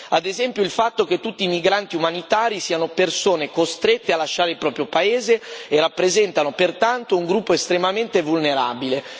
Ad esempio, il fatto che tutti i migranti umanitari siano persone costrette a lasciare il proprio paese e rappresentano pertanto un gruppo estremamente vulnerabile.